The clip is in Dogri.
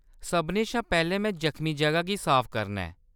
सभनें शा पैह्‌‌‌लें, में जखमी जगह गी साफ करना ऐ।